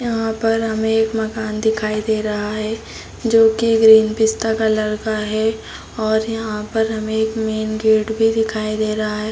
यहाँ पर हमे एक मकान दिखाई दे रहा है जो की ग्रीन पिस्ता कलर का है और यहाँ पर हमे एक मैंने गेट भी दिखाई दे रहा है ।